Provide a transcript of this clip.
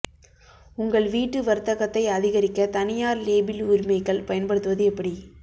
உங்கள் வீட்டு வர்த்தகத்தை அதிகரிக்க தனியார் லேபிள் உரிமைகள் பயன்படுத்துவது எப்படி